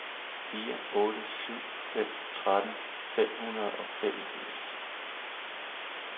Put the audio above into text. fire otte syv fem tretten fem hundrede og femogfirs